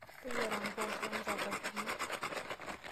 Teyiera mboosho o nchapatini.